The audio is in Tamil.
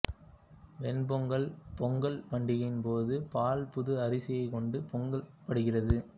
வெண் பொங்கல் பொங்கல் பண்டிகையின் போது பால் புது அரிசியைக் கொண்டு பொங்கப்படுகிறது